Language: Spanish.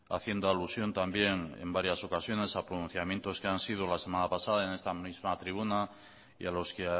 haciendo alusión también en varias ocasiones a pronunciamientos que han sido la semana pasada en esta misma tribuna y a los que